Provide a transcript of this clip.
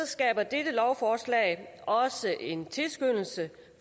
skaber dette lovforslag også en tilskyndelse